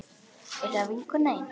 Er það vinkona þín?